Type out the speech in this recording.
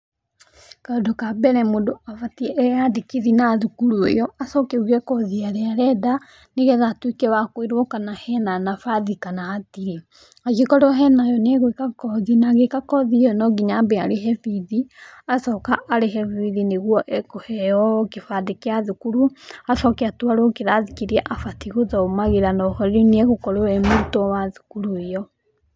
Kaũndũ ka mbere mũndũ abatiĩ eyandĩkithie na thukuru ĩyo, acoke auge kothi ĩrĩa arenda, nĩgetha atuĩke wa kwĩrwo kana hena nabathi kana hatirĩ. Angĩkorwo hena yo nĩ agwĩka kothi ĩyo na agĩka kothi ĩyo no nginya ambe arĩhe bithi, acoka arĩhe bithi nĩguo ekũheo kĩbandĩ kĩa thukuru, acoke atwaro kĩrathi kĩrĩa abatiĩ gũthomagĩra no ho rĩu nĩ agũkorwo arĩ mũrutwo wa thukuru ĩyo.